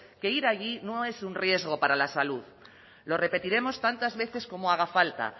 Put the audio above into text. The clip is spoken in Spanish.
que ir allí no es un riesgo para la salud lo repetiremos tantas veces como haga falta